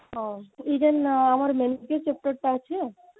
ହଁ even ଆମର chapter ଟା ଅଛି